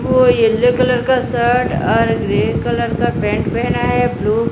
वो yellow colour का shirt और ग्रे कलर का पैंट पहना है ब्लू --